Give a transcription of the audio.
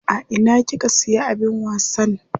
A ina kika siya abin wasan?